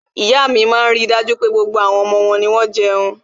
iya mi maa n rí dájú pé, gbogbo àwọn omo won ni won jeun